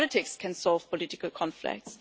Only politics can solve political conflicts.